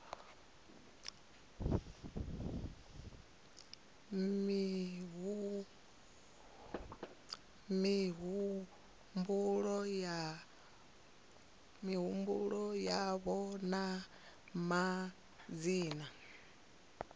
fhe mihumbulo yavho na madzina